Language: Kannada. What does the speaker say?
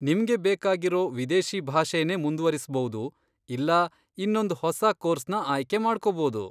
ನಿಮ್ಗೆ ಬೇಕಾಗಿರೋ ವಿದೇಶಿ ಭಾಷೆನೇ ಮುಂದ್ವರಿಸ್ಬೌದು ಇಲ್ಲಾ ಇನ್ನೊಂದ್ ಹೊಸ ಕೋರ್ಸ್ನ ಆಯ್ಕೆ ಮಾಡ್ಕೊಬೋದು.